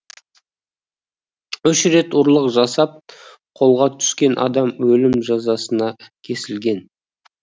үш рет ұрлық жасап қолға түскен адам өлім жазасына кесілген